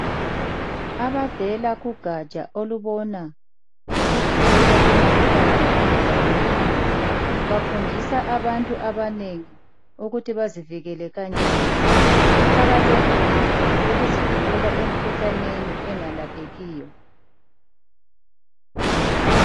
Abavela kugatsha olubona ngokuvikelwa kwemikhuhlane engalaphekiyo bafundisa abantu abanengi ukuthi bangazivikela kanjani. Kuqakathekile ukuzivikela emikhuhlaneni engalaphekiyo.